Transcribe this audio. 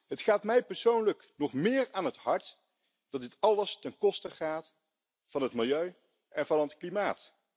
Het gaat mij persoonlijk nog meer aan het hart dat dit alles ten koste gaat van het milieu en van het klimaat.